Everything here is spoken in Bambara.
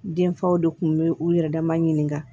Denfaw de tun bɛ u yɛrɛ dama ɲininka